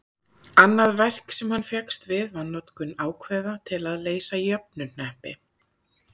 annað verk sem hann fékkst við var notkun ákveða til að leysa jöfnuhneppi